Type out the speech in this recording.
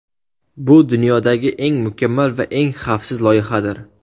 Bu dunyodagi eng mukammal va eng xavfsiz loyihadir.